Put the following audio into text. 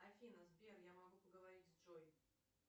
афина сбер я могу поговорить с джой